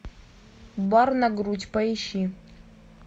бар на грудь поищи